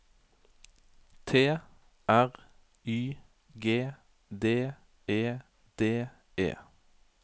T R Y G D E D E